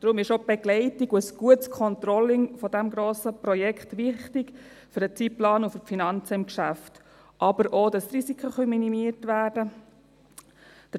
Deshalb sind auch die Begleitung und ein gutes Controlling dieses Projekts wichtig für den Zeitplan und für die Finanzen des Geschäfts, aber auch, dass die Risiken minimiert werden können.